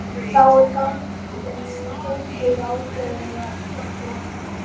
þá er gengið ákveðið af einhverjum